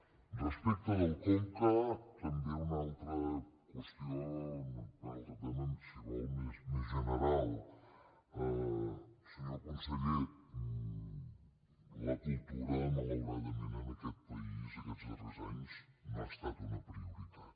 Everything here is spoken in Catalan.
respecte del conca també una altra qüestió un altre tema si vol més general senyor conseller la cultura malauradament en aquest país aquests darrers anys no ha estat una prioritat